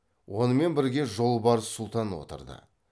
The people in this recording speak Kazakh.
онымен бірге жолбарыс сұлтан отырды